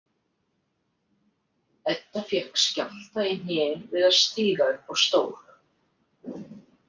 Edda fékk skjálfta í hnén við að stíga upp á stól.